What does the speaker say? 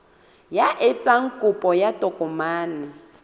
ya etsang kopo ya tokomane